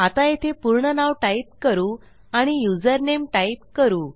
आता येथे पूर्ण नाव टाईप करू आणि युजरनेम टाईप करू